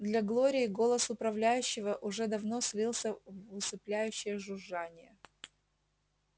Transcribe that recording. для глории голос управляющего уже давно слился в усыпляющее жужжание